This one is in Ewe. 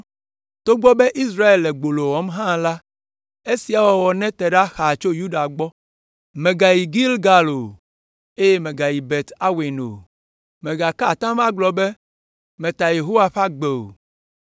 “Togbɔ be Israel le gbolo wɔm hã la, esia wɔwɔ nete ɖa xaa tso Yuda gbɔ. “Mègayi Gilgal o, eye mègayi Bet Aven o. Mègaka atam agblɔ be, ‘Meta Yehowa ƒe agbe’ o.